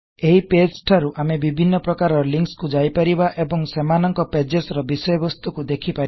ଏବେ ଏହି ପେଜ ଠାରୁ ଆମେ ବିଭିନ୍ନ ପ୍ରକାରର ଲିକଂସ କୁ ଯାଇ ପାରିବା ଏବଂ ସେମାନକଂ ପେଜସ୍ ର ବିଷୟ ବସ୍ତୁକୁ ଦେଖି ପାରିବା